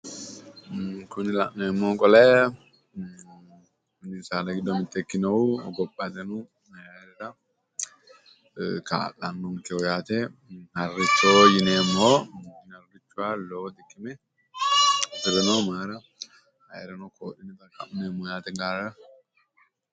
Kuni la'neemmohu qole mini saada giddo mitto ikkinohu hogophateno ayiirano kaa'lanonkeho yaate harricho yineemmo. Harichu yaa lowo xiqime gedeenno mayiira ayiirrino koofhin4è